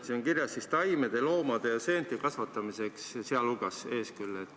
Siin on kirjas taimede, loomade ja seente kasvatamiseks, "sealhulgas" on küll ees.